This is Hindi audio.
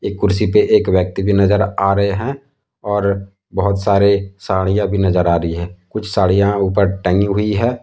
कुर्सी पर एक व्यक्ति भी नजर आ रहे हैं और बहुत सारे साड़ियां भी नजर आ रही है कुछ साड़ियां ऊपर टंगी हुई है।